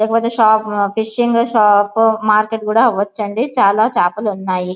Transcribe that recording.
లేకపోతే shop fishing shop market కూడా అవచ్చు అండి చాల చాపలు ఉన్నాయి.